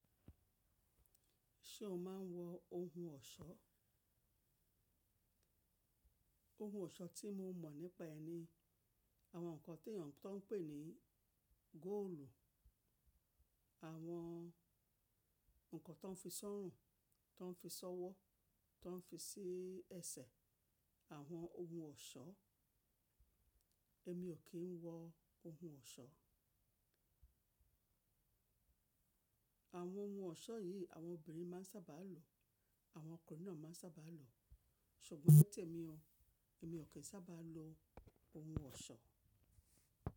Ṣé o máa ń wọ ohun ọ̀ṣọ́? Ohun ọ̀ṣọ́ tí mo mọ̀ nípa ẹni, àwọn nǹkan tí èèyàn tó ń pè ní góòlù, àwọn nǹkan tó ń fi sọ́rùn, tó ń fi ṣọ́wọ́, tó ń fi sí ẹsẹ̀, àwọn ohun ọ̀ṣọ́. Èmi ò kí ń wọ ohun ọ̀ṣọ́. Àwọn ohun ọ̀ṣọ́ yìí àwọn obìnrin máa ń sábà lo, àwọn ọkùnrin náà máa ń sábà lo. Ṣùgbọ́n ní tèmi o, èmi ò kí ń sábà lo ohun ọ̀ṣọ́.